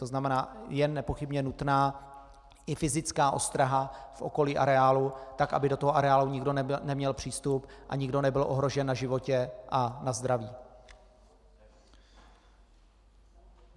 To znamená, je nepochybně nutná i fyzická ostraha v okolí areálu tak, aby do toho areálu nikdo neměl přístup a nikdo nebyl ohrožen na životě a na zdraví.